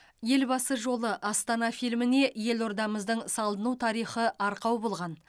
елбасы жолы астана фильміне елордамыздың салыну тарихы арқау болған